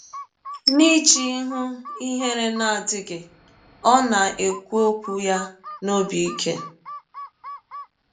N’iji ihụ ihere ihere na - adịghị, ọ na - ekwụ ọkwụ ya n’ọbi ike.